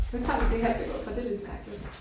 Nu tager vi det her billede for det lidt mærkeligt